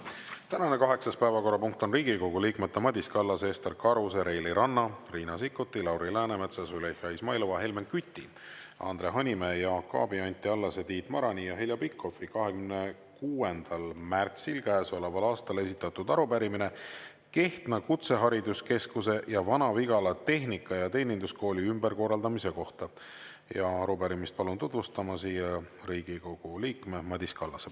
Tänane kaheksas päevakorrapunkt on Riigikogu liikmete Madis Kallase, Ester Karuse, Reili Ranna, Riina Sikkuti, Lauri Läänemetsa, Züleyxa Izmailova, Helmen Küti, Andre Hanimäe, Jaak Aabi, Anti Allase, Tiit Marani ja Heljo Pikhofi 26. märtsil käesoleval aastal esitatud arupärimine Kehtna Kutsehariduskeskuse ja Vana-Vigala Tehnika‑ ja Teeninduskooli ümberkorraldamise kohta ja arupärimist palun tutvustama siia Riigikogu liikme Madis Kallase.